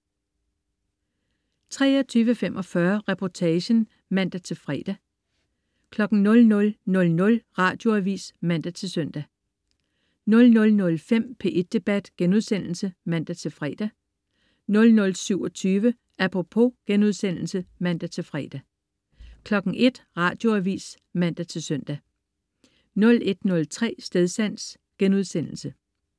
23.45 Reportagen* (man-fre) 00.00 Radioavis (man-søn) 00.05 P1 Debat* (man-fre) 00.27 Apropos* (man-fre) 01.00 Radioavis (man-søn) 01.03 Stedsans*